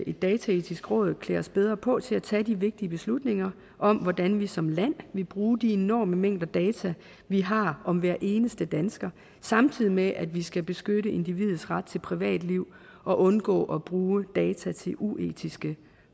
et dataetisk råd klæder os bedre på til at tage de vigtige beslutninger om hvordan vi som land vil bruge de enorme mængder data vi har om hver eneste dansker samtidig med at vi skal beskytte individets ret til privatliv og undgå at bruge data til uetiske